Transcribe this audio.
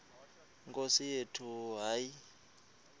nkosi yethu hayi